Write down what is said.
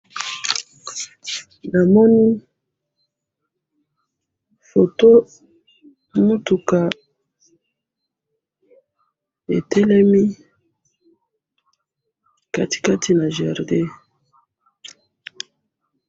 namoni foto mituka etelemi katikati na jardin.